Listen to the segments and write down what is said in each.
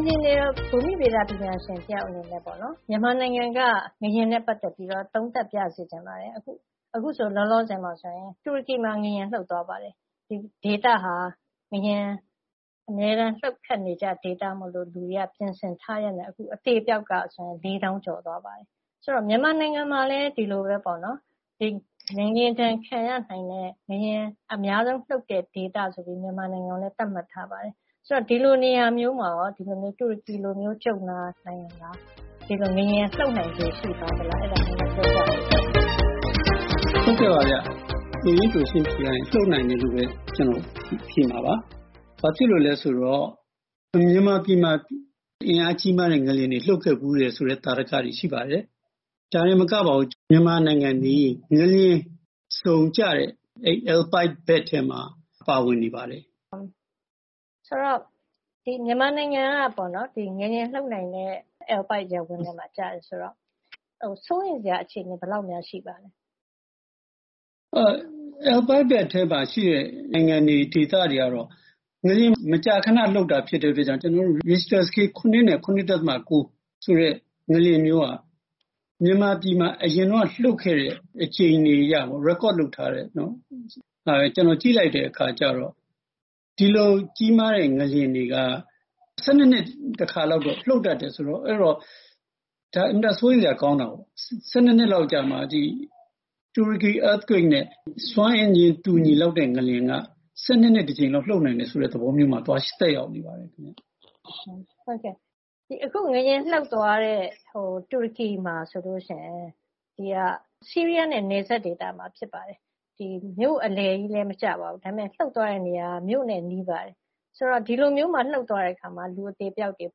င်ဂျင်နီယာ၊ ဘူမိဗေဒပညာရှင်တယောက်အနေနဲ့ မြန်မာနိုင်ငံကငလျင်နဲ့ ပတ်သက်ပြီးတော့ သုံးသပ်ပြစေချင်ပါတယ်။ အခုဆို လောလောဆယ်မှာဆိုရင် တူရကီမှာငလျင်လှုပ် သွားပါတယ်။ ဒီဒေသဟာငလျင်အမြဲတမ်းလှုပ်ခတ်နေကျဒေသမို့လို့ လူတွေက ပြင်ဆင်ထားရင်းနဲ့ အခု အသေအပျောက်က လေးသောင်းကျော်သွားပါပြီ။…ဆိုတော့ မြန်မာနိုင်ငံမှာလည်း ဒီလိုပဲပေါ့နော်-ငလျင်ဒဏ်ခံရနိုင်တဲ့ ငလျင်အများဆုံးလှုပ်တဲ့ဒေသဆိုပြီး မြန်မာပြည်မှာလည်း သတ်မှတ်ထားပါတယ်။ ဆိုတော့ ဒီလိုနေရာမျိုးမှာရော ဒီလိုမျိုး ကြုံတွေ့လာနိုင်သလား။ ဒီလိုငလျင်လှုပ်နိုင်ခြေရှိသလား။ အဲဒါလေး ပြောပြပေးပါ။ ဟုတ်ကဲ့ပါဗျ။ လိုရင်းတိုရှင်းဖြေရရင် လှုပ်နိုင်တယ်လို့ပဲ ကျနော်ဖြေမှာပါ။ ဘာဖြစ်လို့လဲဆိုတော့ မြန်မာပြည်မှာ အင်အားကြီးမားတဲ့ငလျင်တွေ လှုပ်ခဲ့ဖူးတယ်ဆိုတဲ့ သာဓကတွေရှိပါတယ်။ ဒါတင်မကပါဘူး၊ မြန်မာနိုင်ငံသည် ငလျင်ဇုန်ကျတဲ့ Alpide belt ထဲမှာ ပါဝင်နေပါတယ်။ ဆိုတော့…မြန်မာနိုင်ငံက ငလျင်လှုပ်နိုင်တဲ့ Alpide ရပ်ဝန်းထဲမှာကျတယ်ဆိုတော့ စိုးရိမ်စရာအခြေအနေ ဘယ်လောက်များရှိပါသလဲ။ Alpide belt ထဲမှာရှိတဲ့ နိုင်ငံတွေ၊ ဒေသတွေကတော့ ငလျင်မကြာခနလှုပ်တာဖြစ်တဲ့ အတွက်ကြောင့် ကျနော်တို့ ရစ်ချ်တာစကေး ၇ နဲ့ ၇.၉ ဆိုတဲ့ငလျင်မျိုးက မြန်မာပြည်မှာအရင်တုန်းကလှုပ်ခဲ့တဲ့အကြိမ်တွေအရ record လုပ်ထားတဲ့ပေါ့နော်၊ ကျနော် ကြည့်လိုက်တဲ့အခါကျတော့ ဒီလိုကြီးမားတဲ့ငလျင်တွေက ၁၂ နှစ်တခါလောက်တော့ လှုပ်တတ်တယ်ဆိုတော့-အဲတော့ ဒါ အင်မတန်စိုးရိမ်စရာကောင်းတာပေါ့။ ၁၂ နှစ်လောက်အကြာမှာ တူရကီ earthquake နဲ့စွမ်းအင်ချင်းတူညီလောက်တဲ့ငလျင်က ၁၂ နှစ်တကြိမ်လောက်လှုပ်နိုင်တယ်ဆိုတဲ့သဘောမျိုးမှာ သွားသက်ရောက်နေတာကိုး။ ဟုတ်ကဲ့၊ အခု ငလျင်လှုပ်သွားတဲ့တူရကီမှာဆိုရင် ဆီးရီးယားနဲ့နယ်စပ်ဒေသမှာဖြစ်ပါတယ်။ မြို့အလယ်ကြီးလည်းမကျပါဘူး။ ဒါပေမဲ့ ဒါပေမဲ့ လှုပ်သွားတဲ့နေရာက မြို့နဲ့နီးပါတယ်။ ဆိုတော့ ဒီလိုမျိုးမှာ လှုပ်သွားတဲ့အခါမှာ လူအသေအပျောက်တွေ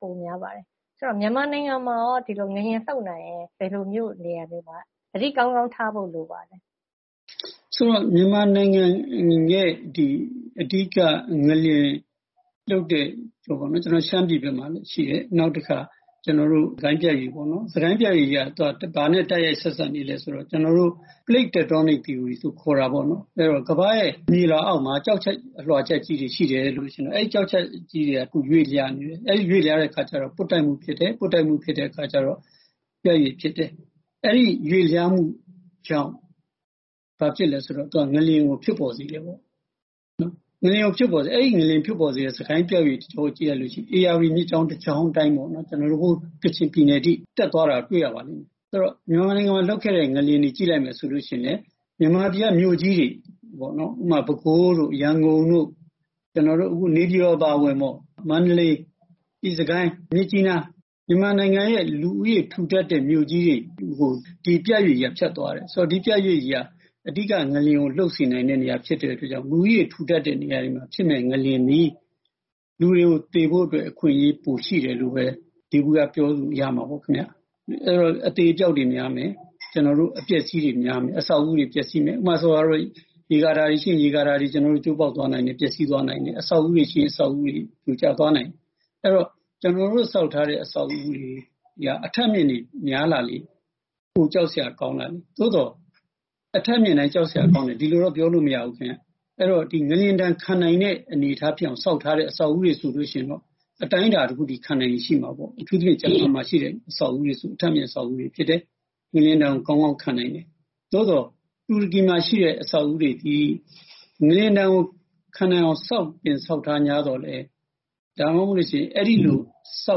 ပိုများပါတယ်။ ဆိုတော့ မြန်မာနိုင်ငံမှာရော ဒီလိုငလျင်လှုပ်နိုင်ရင် ဘယ်လိုမြို့နေရာတွေမှာ သတိကောင်းကောင်းထားဖို့ လိုပါသလဲ။ ဆိုတော့ မြန်မာနိုင်ငံအနေနဲ့ ဒီ အဓိကငလျင်လှုပ်တဲ့ ရှမ်းပြည်ဘက်မှာ ရှိတယ်။ နောက်တခါ စစ်ကိုင်းပြတ်ရွေ့ပေါ့နော်။ စစ်ကိုင်းပြတ်ရွေ့ကြီးက ဘာနဲ့တိုက်ရိုက်ဆက်စပ်နေလဲဆိုတော့ plate tectonic theory လို့ခေါ်တာပေါ့နော်။ ကမ္ဘာ့ရဲ့မြေလွှာအောက်မှာ ကျောက်ချပ် အလွှာချပ်ကြီးတွေရှိတယ်၊ အဲဒီကျောက်ချပ်ကြီးတွေက ရွေ့လျားနေတယ်။ အဲဒီရွေ့လျားတဲ့အခါကျတော့ ပွတ်တိုက်မှုဖြစ်တယ်၊ ပွတ်တိုက်မှုဖြစ်တဲ့အခါကျတော့ ပြတ်ရွေ့ဖြစ်တယ်။ အဲဒီရွေ့လျားမှုကြောင့် ဘာဖြစ်လဲဆိုတော့ သူက ငလျင်ကိုဖြစ်ပေါ်စေတယ်ပေါ့။ အဲဒီ ငလျင်ဖြစ်ပေါ်စေတဲ့ စစ်ကိုင်းပြတ်ရွေ့ကြောကြီးက ဧရာဝတီမြစ်ကြောင်းတကြောင်း အတိုင်း ပေါ့နော်- ဟိုးကချင်ပြည်နယ်အထိ တက်သွားတာတွေ့ရပါလိမ့်မယ်။…ဆိုတော့ မြန်မာနိုင်ငံမှာ လှုပ်ခဲ့တဲ့ငလျင်တွေကို ကြည့်လိုက် မယ်ဆိုလို့ရှိရင်လည်း မြန်မာပြည်ကမြို့ကြီးတွေ ဥပမာ ပဲခူးတို့၊ ရန်ကုန်တို့၊ နေပြည်တော်အပါအဝင်ပေါ့၊ မန္တလေး၊ စစ်ကိုင်း၊ မြစ်ကြီးနား- မြန်မာနိုင်ငံရဲ့လူဦးရေ ထူထပ်တဲ့မြို့ကြီးတွေကို ဒီပြတ်ရွေ့ကြီးက ဖြတ်သွားတယ်။ ဆိုတော့ ဒီပြတ်ရွေ့ကြီးက အဓိကငလျင်ကို လှုပ်စေနိုင်တဲ့နေရာဖြစ်တဲ့အတွက်ကြောင့်မို့လို့ လူဦးရေထူထပ်တဲ့ နေရာတွေမှာဖြစ်မယ့်ငလျင်သည် လူတွေကိုသေဖို့အတွက် အခွင့်အရေးပိုရှိတယ်လို့ပဲ ယေဘုယျပြောလို့ရမှာပေါ့ခင်ဗျ။ အဲဒီတော့ အသေအပျောက်တွေများမယ်၊ အပျက်အစီးတွေများမယ်၊ အဆောက်အဦးတွေပျက်စီးမယ်။ ဥပမာဆိုပါတော့- ရေကာတာတွေရှိရင် ရေကာတာတွေကျိုးပေါက်သွားနိုင်တယ်၊ ပျက်စီးသွားနိုင် တယ်။ အဆောက်အဦးတွေရှိရင် ပြိုကျသွားနိုင်တယ်။ အဲဒီတော့ ကျနော်တို့ဆောက်ထားတဲ့ အဆောက်အဦးတွေက အထပ်မြင့်တွေများလာလေ၊ ပိုကြောက်စရာကောင်းလာလေ။ သို့သော် အထပ်မြင့်တိုင်းကြောက်စရာကောင်းတယ်-ဒီလိုတော့ ပြောလို့မရဘူးခင်ဗျ။ အဲဒီတော့ ငလျင်ဒဏ် ခံနိုင်တဲ့အနေအထားဖြစ်အောင်ဆောက်ထားတဲ့ အဆောက်အဦးတွေဆိုလို့ရှိရင်တော့ အတိုင်းအတာ တခုအထိ ခံနိုင်ရည်ရှိမှာပေါ့။ အထူးသဖြင့် ဂျပန်မှာရှိတဲ့ အဆောက်အဦးတွေဆို အထပ်မြင့် အဆောက်အဦးဖြစ်တယ်။ ငလျင်ဒဏ်ကို ကောင်းကောင်းခံနိုင်တယ်။ သို့သော် တူရကီမှာရှိတဲ့ အဆောက်အဦးတွေသည် ငလျင်ဒဏ်ကို ခံနိုင်အောင်ဆောက်ထားငြားသော်လည်း ဒါမှမဟုတ်လို့ရှိရင် အဲဒီလိုဆော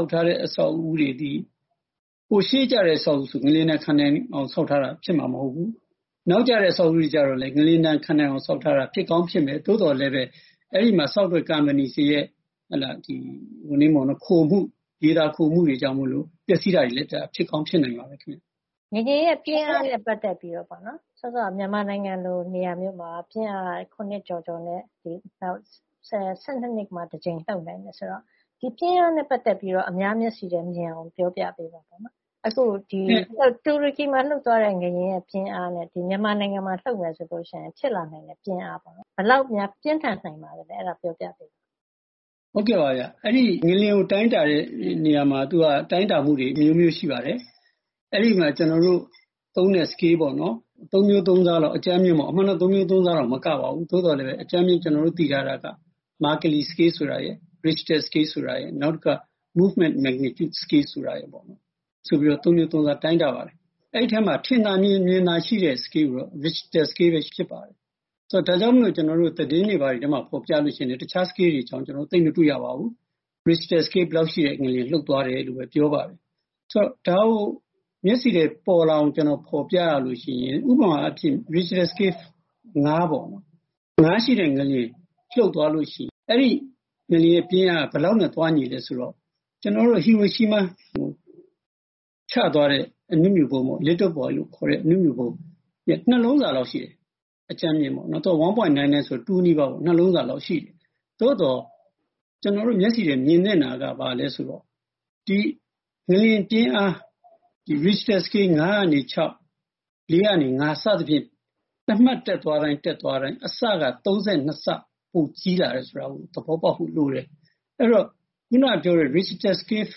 က်ထားတဲ့ အဆောက်အဦးတွေသည် ရှေးကျတဲ့အဆောက်အဦးတွေဆိုရင် ငလျင်ဒဏ် ခံနိုင်အောင် ဆောက်ထားတာဖြစ်မှာမဟုတ်ဘူး၊ နောက်ကျတဲ့အဆောက်အဦးတွေ ကျတော့လည်း ငလျင်ဒဏ်ခံနိုင်အောင်ဆောက်ထားတာဖြစ်ကောင်းဖြစ်မယ်၊ သို့သော်လည်းပဲ အဲဒီမှာဆောက်တဲ့ ကုမ္ပဏီတွေရဲ့ ရေသာခိုမှုတွေကြောင့်မို့လို့ ပျက်စီးတာတွေလည်း ဖြစ်ကောင်းဖြစ်နိုင်ပါတယ်။ ငလျင်ရဲ့ပြင်းအားနဲ့ပတ်သက်ပြီးတော့ပေါ့နော်- မြန်မာနိုင်ငံလိုနေရာမျိုးမှာ ပြင်းအား ၇ ကျော်ကျော်နဲ့ ၁၂ နှစ်မှာတကြိမ် လှုပ်နိုင်တယ်ဆိုတော့ ဒီပြင်းအားနဲ့ပတ်သက်ပြီးတော့ အများမျက်စိထဲမြင်သာအောင် ပြောပြပေးပါနော်။ အခု တူရကီမှာလှုပ်သွားတဲ့ငလျင်ရဲ့ပြင်းအားနဲ့ မြန်မာနိုင်ငံမှာလှုပ်မယ်ဆိုလို့ရှိရင် ဖြစ်လာနိုင်တဲ့ပြင်းအားပေါ့နော်- ဘယ်လောက်များ ပြင်းထန်နိုင်ပါသလဲ။ အဲဒါ ပြောပြပေးပါ။ ဟုတ်ကဲ့ပါဗျ။ အဲဒီ ငလျင်ကိုတိုင်းတာတဲ့နေရာမှာ တိုင်းတာမှုတွေ အမျိုးမျိုးရှိပါတယ်။ အဲဒီမှာ ကျနော်တို့သုံးတဲ့စကေးပေါ့နော်၊ အကြမ်းဖျင်း သုံးမျိုးသုံးစားလောက်..အမှန်တော့ သုံးမျိုးသုံးစားတော့ မကပါဘူး။ သို့သော်လည်းပဲ အကြမ်းဖျင်း ကျနော်တို့သိထားတာက မာကယ်လီ စကေး ဆိုတာရယ်၊ ရစ်ချ်တာစကေးဆိုတာရယ်၊ နောက်တခါ Moment Magnitude scale ဆိုပြီး သုံးမျိုးသုံးစား တိုင်းတာပါတယ်။ အဲဒီထဲမှာ ထင်သာမြင်သာရှိတဲ့စကေးကတော့ ရစ်ချ်တာစကေးပဲဖြစ်ပါတယ်။ ဒါကြောင့်မို့လို့ ကျနော်တို့ သတင်းတွေထဲမှာ ဖော်ပြလို့ရှိရင်လည်း တခြားစကေးတွေအကြောင်း သိပ်မတွေ့ရပါဘူး။ ရစ်ချ်တာစကေး ဘယ်လောက်ရှိတဲ့ငလျင် လှုပ်သွားတယ်-လို့ပဲ ပြောပါတယ်။…ဆိုတော့ ဒါကို မျက်စိထဲပေါ်လာအောင် ဖော်ပြရလို့ရှိရင် ဥပမာအဖြစ် ရစ်ချ်တာစကေး ၅ ပေါ့။ ၅ ရှိတဲ့ငလျင်လှုပ်သွားလို့ရှိရင် အဲဒီငလျင်ရဲ့ပြင်းအားက ဘယ်လောက်နဲ့သွားညီလဲဆိုတော့ ဟီရိုရှီးမားကို ချသွားတဲ့ အနုမြူဗုံး Little boy လို့ခေါ်တဲ့ အနုမြူဗုံးရဲ့နှစ်လုံးစာလောက်ရှိတယ်။ အကြမ်းဖျင်းပေါ့။ ၁.၉၉ ဆိုတော့ ၂ နီးပါးပေါ့။ နှစ်လုံးစာလောက်ရှိတယ်။ သို့သော် ကျနော်တို့မျက်စိထဲ မြင်သင့်တာက ဘာလဲ ဆိုတော့ ဒီငလျင်ပြင်းအား ရစ်ချ်တာစကေး ၅ ကနေ ၆ ၊ ၄ ကနေ ၅ စသဖြင့် တမှတ်တက်သွားတိုင်း သွားတိုင်း အဆက ၃၂ ဆ ပိုကြီးလာတယ်ဆိုတာကို သဘောပေါက်ဖို့လိုတယ်။ အဲဒီတော့ အခုနက ပြောတဲ့ ရစ်ချ်တာစကေး ၅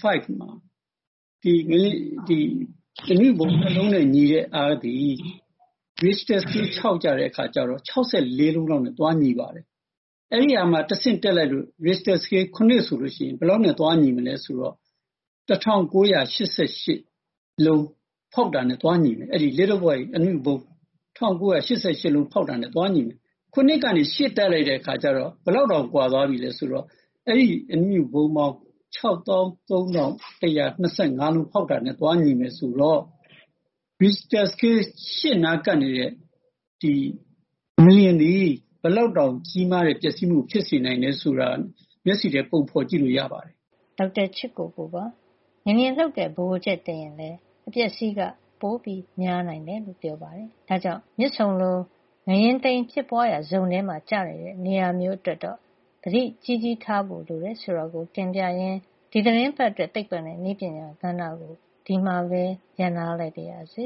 မှာ အနုမြူဗုံးနှစ်လုံးနဲ့ညီတဲ့အားသည် ရစ်ချ်တာစကေး ၆ မှာကျတော့ ၆၄ လုံးလောက်နဲ့သွားညီပါတယ်။ အဲဒီကမှ တဆင့်တက်လိုက်လို့ ရစ်ချ်တာစကေး ၇ ဆိုလို့ရှိရင် ဘယ်လောက်နဲ့သွားညီမလဲဆိုတော့ ၁၉၈၈ လုံးဖောက်တာနဲ့သွားညီမယ်၊ အဲဒီ little boy အနုမြူဗုံး ၁၉၈၈ လုံးဖောက်တာနဲ့ သွားညီမယ်။ ၇ ကနေ ၈ တက်လိုက်တဲ့အခါကျတော့ ဘယ်လောက်တောင် ကွာသွားပြီလဲဆိုတော့ အဲဒီအနုမြူဗုံးပေါင်း ၆၃,၁၂၅ လုံးဖောက်တာနဲ့ သွားညီမယ်ဆိုတော့ ရစ်ချ်တာစကေး ၈ နားကပ်နေတဲ့ငလျင်သည် ဘယ်လောက်တောင်ကြီးမားတဲ့ ပျက်စီးမှုဖြစ်စေနိုင်တယ်ဆိုတာ မျက်စိထဲ ပုံဖော်ကြည့်လို့ရပါတယ်။ ဒေါက်တာချစ်ကိုကိုပါ။ ငလျင်လှုပ်တဲ့ ဗဟိုချက်တိမ်ရင်လည်း အပျက်အစီးက ပိုများနိုင်တယ်လို့လည်း ပြောပါတယ်။ ဒါကြောင့် မြစ်ဆုံလို ငလျင်တိမ် ဖြစ်ပွါးရာ ဇုံထဲ ကျနေတဲ့ နေရာမျိုး အတွက် သတိကြီးကြီးထားဖို့လိုတယ် ဆိုတာကို တင်ပြရင်း ဒီသီတင်းပတ်အတွက် သိပ္ပံနဲ့နည်းပညာကဏ္ဍကို ဒီမှာပဲ ရပ်နားလိုက်ပါရစေ